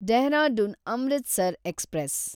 Dehradun Amritsar express